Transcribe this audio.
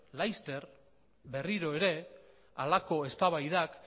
laster berriro ere halako eztabaidak